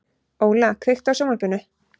Óla, kveiktu á sjónvarpinu.